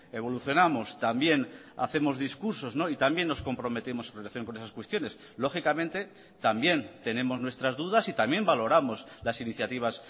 evolucionamos también hacemos discursos y también nos comprometemos en relación con esas cuestiones lógicamente también tenemos nuestras dudas y también valoramos las iniciativas